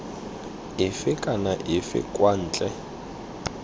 efe kana efe kwa ntle